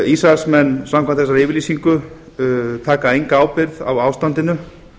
ísraelsmenn samkvæmt þessari yfirlýsingu taka enga ábyrgð á ástandinu